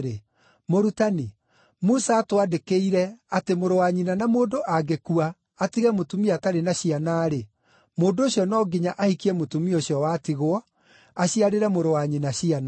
“Mũrutani, Musa aatwandĩkĩire atĩ mũrũ wa nyina na mũndũ angĩkua atige mũtumia atarĩ na ciana-rĩ, mũndũ ũcio no nginya ahikie mũtumia ũcio watigwo, aciarĩre mũrũ wa nyina ciana.